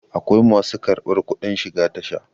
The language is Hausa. akwai masu kabar kudin shiga Tasha